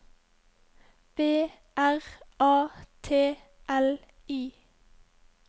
B R A T L I